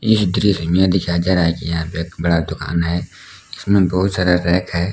इस दृश्य में दिखाई दे रहा की यहां पे बड़ा दुकान है इसमें बहुत सारा रैक है।